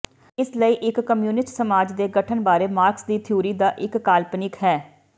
ਇਸ ਲਈ ਇੱਕ ਕਮਿਊਨਿਸਟ ਸਮਾਜ ਦੇ ਗਠਨ ਬਾਰੇ ਮਾਰਕਸ ਦੀ ਥਿਊਰੀ ਦਾ ਇੱਕ ਕਾਲਪਨਿਕ ਹੈ